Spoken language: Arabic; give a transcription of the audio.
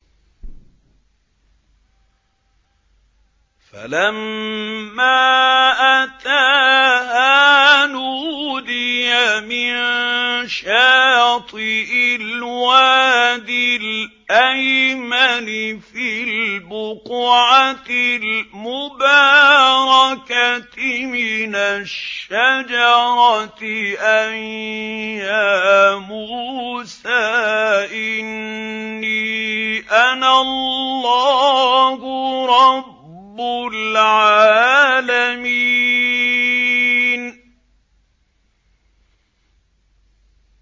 فَلَمَّا أَتَاهَا نُودِيَ مِن شَاطِئِ الْوَادِ الْأَيْمَنِ فِي الْبُقْعَةِ الْمُبَارَكَةِ مِنَ الشَّجَرَةِ أَن يَا مُوسَىٰ إِنِّي أَنَا اللَّهُ رَبُّ الْعَالَمِينَ